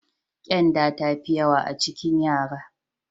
Ƙyanda ta fi yawa a cikin yara.